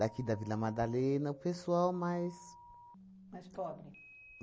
Daqui da Vila Madalena, o pessoal mais... Mais pobre.